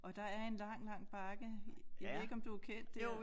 Og der er en lang lang bakke jeg ved ikke om du er kendt dér